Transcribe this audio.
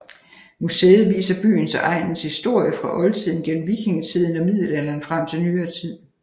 Museet viser byens og egnens historie fra oldtiden gennem vikingetiden og middelalderen frem til nyere tid